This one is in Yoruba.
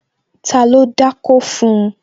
Ta ló dákó fun?